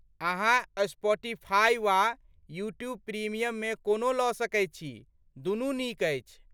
अहाँ स्पॉटिफाई वा YouTube premium मे कोनो लऽ सकैत छी ,दुनू नीक अछि।